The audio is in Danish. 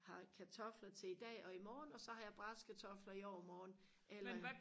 har kartofler til i dag og imorgen og så har jeg brasede kartofler i overmorgen eller